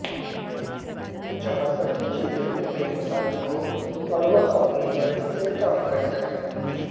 जहां सभी चीजें उनके मुताबिक हो और वह अपनी मर्जी से काम कर सके